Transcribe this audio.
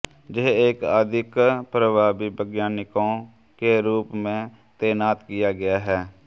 यह एक अधिक प्रभावी वैज्ञानिकों के रूप में तैनात किया गया है